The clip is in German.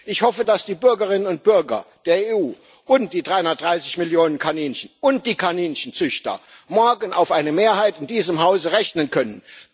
Ich hoffe, dass die Bürgerinnen und Bürger der EU und die 330 Millionen Kaninchen und die Kaninchenzüchter morgen auf eine Mehrheit in diesem Hause rechnen können.